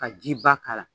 Ka ji ba k'a la